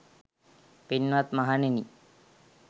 පින්වත් මහණෙනි,